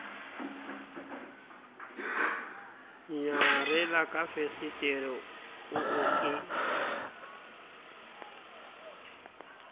nyarela ka fesetere oo ke